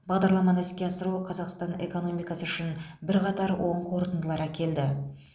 бағдарламаны іске асыру қазақстан экономикасы үшін бірқатар оң қорытындылар әкелді